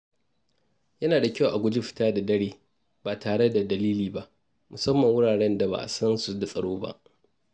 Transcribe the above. Yana da kyau a guji fita da dare ba tare da dalili ba, musamman a wuraren da ba a san su da tsaro ba.